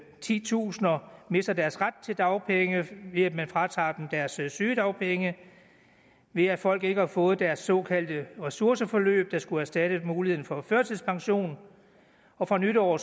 titusinder mister deres ret til dagpenge ved at man fratager dem deres sygedagpenge ved at folk ikke har fået deres såkaldte ressourceforløb der skulle erstatte muligheden for førtidspension og fra nytår